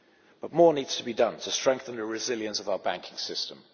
But more needs to be done to strengthen the resilience of our banking system.